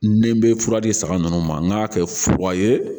Ni n bɛ fura di saga ninnu ma n k'a kɛ fo wa ye